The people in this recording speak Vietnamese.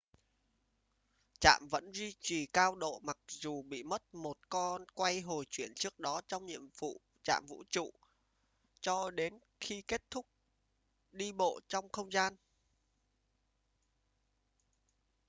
trạm vẫn duy trì cao độ mặc dù bị mất một con quay hồi chuyển trước đó trong nhiệm vụ trạm vũ trụ cho đến khi kết thúc đi bộ trong không gian